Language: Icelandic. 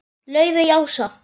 Laufey Ása.